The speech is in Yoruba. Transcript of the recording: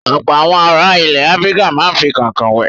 Ọ̀pọ̀ àwọn ará ilẹ̀ Áfíríkà máa ń fi kànkàn wẹ̀.